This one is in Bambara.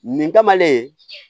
Nin kamalen